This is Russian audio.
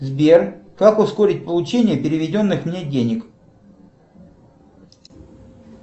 сбер как ускорить получение переведенных мне денег